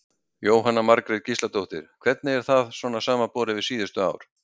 Jóhanna Margrét Gísladóttir: Hvernig er það svona samanborið við síðustu ár?